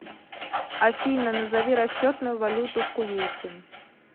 афина назови расчетную валюту в кувейте